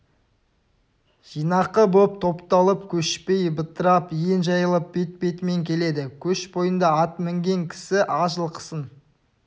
жинақы боп топталып көшпей бытырап ен жайылып бет-бетімен келеді көш бойында ат мінген кісі аз жылқысын